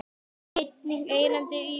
Einnig erindi í útvarp.